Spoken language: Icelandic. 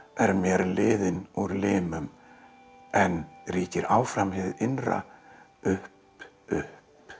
er mér liðinn úr limum en ríkir áfram hið innra upp upp